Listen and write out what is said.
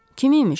Kim imiş?